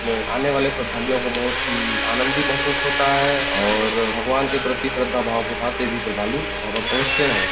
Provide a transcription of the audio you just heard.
में आने वाले श्रद्धालुवो को बहुत ही आनंदित महसूस होता हैं और भगवान के प्रति श्रद्धा भाव के साथ ये भी श्रद्धालु वहाँ पर पहुँचते हैं।